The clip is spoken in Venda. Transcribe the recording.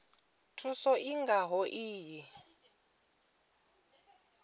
thuso i nga ho iyi